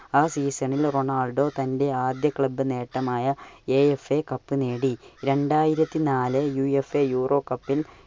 ആ season ൽ Ronaldo തന്റെ ആദ്യ club നേട്ടമായ AFA cup കപ്പ് നേടി. രണ്ടായിരത്തി നാല് UFA Euro Cup ൽ